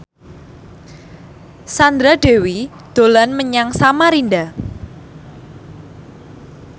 Sandra Dewi dolan menyang Samarinda